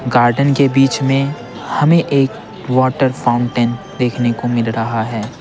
Garden के बीच में हमें एक वाटर फाउंटेन देखने को मिल रहा है।